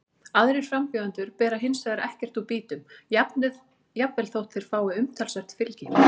Aðrir frambjóðendur bera hins vegar ekkert úr býtum, jafnvel þótt þeir fái umtalsvert fylgi.